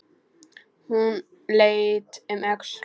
Hún leit um öxl.